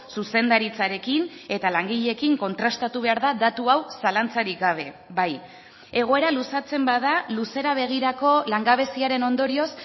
zuzendaritzarekin eta langileekin kontrastatu behar da datu hau zalantzarik gabe bai egoera luzatzen bada luzera begirako langabeziaren ondorioz